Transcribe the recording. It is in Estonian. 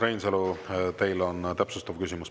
Urmas Reinsalu, teil on täpsustav küsimus.